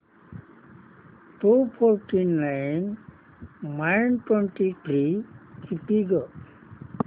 to forty nine minus twenty three किती गं